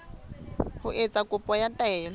ho etsa kopo ya taelo